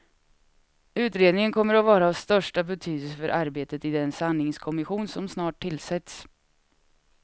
Utredningen kommer att vara av största betydelse för arbetet i den sanningskommission som snart tillsätts.